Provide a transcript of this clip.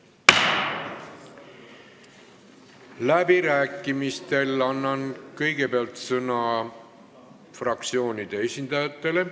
Läbirääkimistel annan kõigepealt sõna fraktsioonide esindajatele.